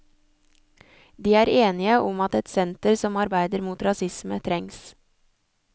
De er enige om at et senter som arbeider mot rasisme trengs.